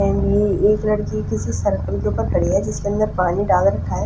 And ये एक लड़की किसी सर्किल के ऊपर खड़ी है जिसके अंदर पानी डाल रखा है।